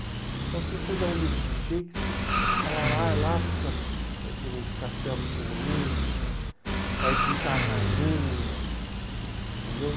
Então, se você der um livro do Shakespeare, ela vai lá para os cat para os castelos de Windsor, vai visitar a rainha, entendeu?